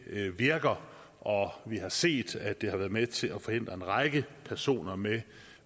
virker og vi har set at det har været med til at forhindre en række personer med en